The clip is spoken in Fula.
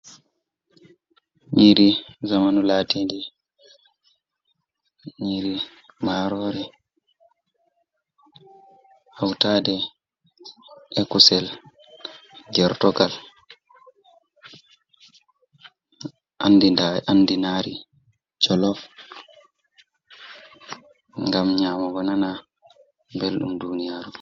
Nyiri zamanu laatindi, nyiri marore hautade e kusel gortogal, andiraadi jolof ngam nyamugo nana belɗum duniyaru.